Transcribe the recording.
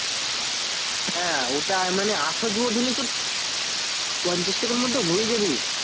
হ্যাঁ ওটাই মানে আসা জুয়া ধরলেই তোর পঞ্চাশ টাকার মধ্যে হয়ে যাবে